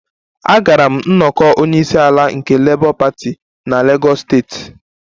Agara m nnọkọ onye isi ala nke Labour party na Lagos steeti